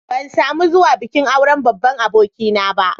Ban samu zuwa bikin auren babban abokina ba.